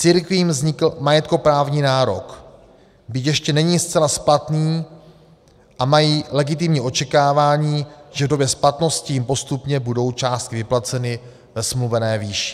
Církvím vznikl majetkoprávní nárok, byť ještě není zcela splatný, a mají legitimní očekávání, že v době splatnosti jim postupně budou částky vyplaceny ve smluvené výši.